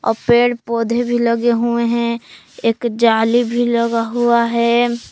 अ पेड़ पौधे भी लगे हुए है एक जाली भी लगा हुआ है।